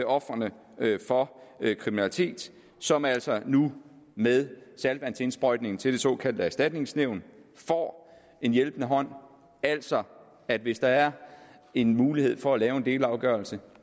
ofrene for kriminalitet som altså nu med saltvandsindsprøjtningen til det såkaldte erstatningsnævn får en hjælpende hånd altså at hvis der er en mulighed for at lave en delafgørelse